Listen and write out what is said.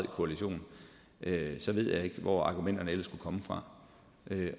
koalition så ved jeg ikke hvor argumenterne ellers skal komme fra